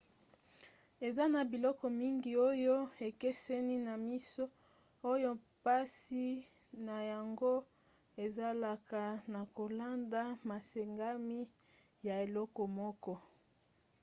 eza na biloko mingi oyo ekeseni na miso oyo mpasi na yango ezalaka na kolanda masengami ya eloko moko